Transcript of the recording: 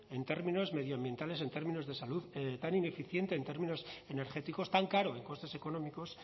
en términos medioambientales en términos de salud tan ineficiente en términos energéticos tan caro en costes económicos